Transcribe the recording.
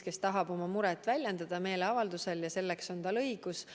Ta tahab meeleavaldusel oma muret väljendada ja selleks on tal õigus.